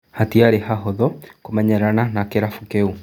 " Hatiarĩ hahũthũ kũmenyerana na kĩrabu kĩu.